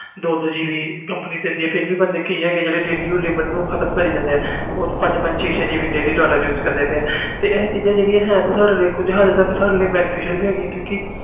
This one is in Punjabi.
ਦੋ ਦੋ gb ਕੰਪਨੀ ਦਿੰਦੀ ਆ ਫਿਰ ਕੁਛ ਬੰਦੇ ਹੈ ਜੋ ਉਹ ਵੀ ਲਿਮਿਟ ਨੂੰ ਖਤਮ ਕਰੀ ਜਾਂਦੇ ਆ ਪੰਜ ਪੰਜ ਛੇ ਛੇ gb use ਕਰੀ ਜਾਂਦੇ ਆ ਇਹ ਤੇ ਚੀਜ਼ਾਂ ਸਾਡੇ ਲਈ ਕੁਛ benefit ਆ